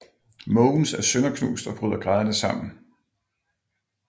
Måvens er sønderknust og bryder grædende sammen